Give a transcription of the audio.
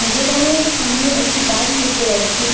দোকানের সামোনে একটি বাইক দেখতে পাচ্ছি.